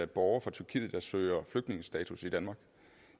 borger fra tyrkiet der søger flygtningestatus i danmark